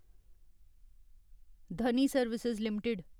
Dhani service limited